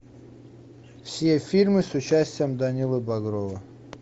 все фильмы с участием данилы багрова